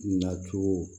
Na cogo